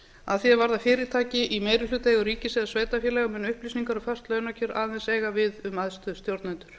að því er varðar fyrirtæki í meirihlutaeigu ríkis eða sveitarfélaga munu upplýsingar um föst launakjör aðeins eiga við um æðstu stjórnendur